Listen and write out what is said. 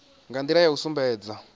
nga ndila ya u sumbedza